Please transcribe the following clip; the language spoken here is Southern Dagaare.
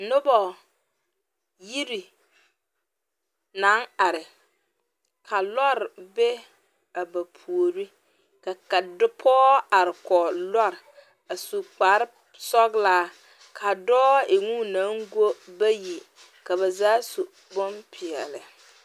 Noba yiri naŋ are ka lɔɔre be a ba puoriŋ ka pɔge are kɔge lɔɔre a su kparesɔglaa ka dɔɔ e ŋa o naŋ go bayi ka ba zaa su bonpeɛlle.